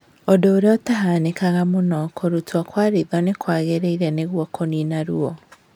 ũndũ ũrĩa ũtahanĩkaga mũno, kũrutwo kwa ritho nĩ kwagĩrĩire nĩguo kũnina ruo